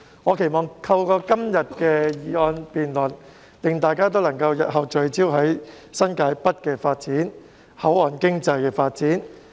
我期望今天的議案辯論可令大家日後聚焦新界北和口岸經濟的發展。